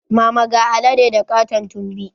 Mama ga alade da katon tumbi